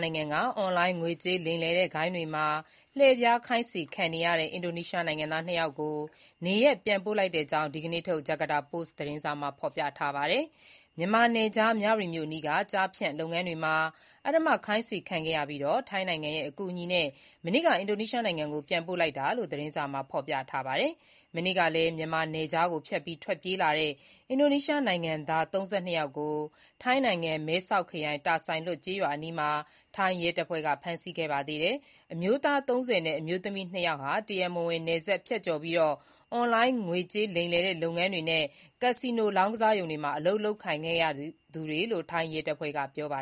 နိုင်ငံက အွန်လိုင်းငွေကြေး လိမ်လည်တဲ့ဂိုဏ်းတွေမှာ လှည့်ဖျားခိုင်းစေခံရတဲ့ အင်ဒိုနီးရှားနိုင်ငံသား ၂ ယောက်ကို နေရပ် ပြန်ပို့လိုက်တဲ့ အကြောင်း ဒီနေ့ထုတ် ဂျာကာတာပို့စ် သတင်းစာမှာ ဖေါ်ပြပါတယ်။ မြန်မာနယ်ခြား မြဝတီမြို့ အနီးက ကျားဖြန့်လုပ်ငန်းတွေမှာ အဓမ္မခိုင်းစေခံခဲ့ရပြီး ထိုင်းနိုင်ငံရဲ့ အကူအညီနဲ့ မနေ့က အင်ဒိုနီးရှားနိုင်ငံ Banten ပြည်နယ် Tangerang မြို့လေဆိပ်ကို ပြန်ပို့လိုက်တာလို့ သတင်းစာမှာ ဖေါ်ပြပါတယ်။ မနေ့ကပဲ မြန်မာနယ်ခြားကို ဖြတ်ပြီး ထွက်ပြေးလာတဲ့ အင်ဒိုနီးရှားနိုင်ငံသား ၃၂ ယောက်ကို ထိုင်းနိုင်ငံ မဲဆောက်ခရိုင်၊ တာဆိုင်လွတ်ကျေးရွာအနီးမှာ ထိုင်း ရဲတပ်ဖွဲ့က ဖမ်းဆီးခဲ့ပါတယ်။ အမျိုးသား ၃၀ နဲ့ အမျိုးသမီး နှစ်ယောက်ဟာ တရားမဝင် နယ်စပ်ဖြတ်ကျော်ပြီး အွန်လိုင်း ငွေကြေးလိမ်လည်တဲ့ လုပ်ငန်းတွေနဲ့ ကက်စီနို လောင်းကစားရုံတွေမှာ အလုပ်လုပ်ခဲ့ရသူတွေလို့ ထိုင်း ရဲတပ်ဖွဲ့က ပြောပါ